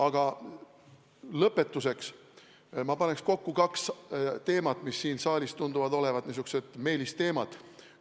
Aga lõpetuseks ma paneks kokku kaks temaatikat, mis siin saalis tunduvad olevat meelistemaatikad.